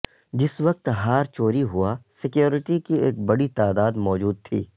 جس وقت ہار چوری ہوا سکیورٹی کی ایک بڑی تعداد موجود تھی